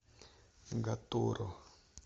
гатурро